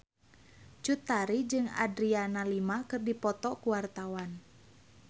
Cut Tari jeung Adriana Lima keur dipoto ku wartawan